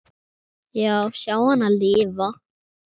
Já, sjá hana lifa.